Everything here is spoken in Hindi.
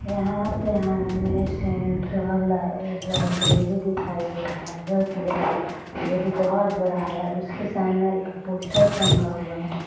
यहाँ पे हम सेंट्रल लाइ-लाइब्रेरी दिखाई दे रहा है। जोकि वहा लाइब्रेरी बोहोत बड़ा है। उसके सामने एक पोस्टर टंगा हुआ है।